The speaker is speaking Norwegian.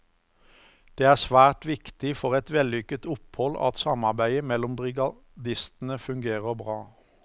Det er svært viktig for et vellykket opphold at samarbeidet mellom brigadistene fungerer bra.